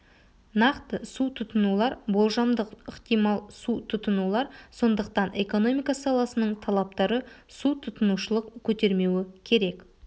нақты су тұтынулар болжамдық ықтимал су тұтынулар сондықтан экономика саласының талаптары су тұтынушылық көтермеуі керек